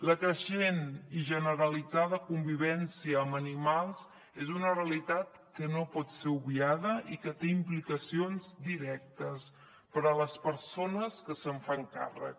la creixent i generalitzada convivència amb animals és una realitat que no pot ser obviada i que té implicacions directes per a les persones que se’n fan càrrec